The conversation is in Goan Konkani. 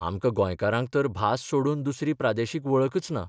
आमकां गोंयकारांक तर भास सोडून दुसरी प्रादेशीक वळखच ना.